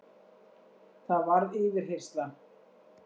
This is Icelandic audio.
Það varð yfirheyrsla.